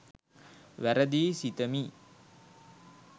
වැරදියි සිතමි